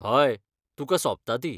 हय, तुका सोबता ती.